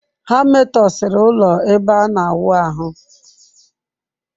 Ha metọsịrị ụlọ ebe ana awụ ahụ.